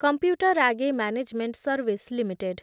computer age management service limited